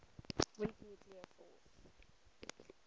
weak nuclear force